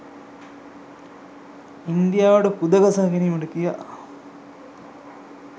ඉන්දියාවට කුද ගසා ගැනීමට කියා